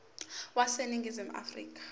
wase ningizimu afrika